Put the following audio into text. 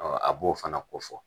A b'o fana ko fɔ